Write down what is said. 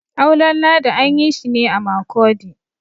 auren ladi an yi shi ne a Makurdi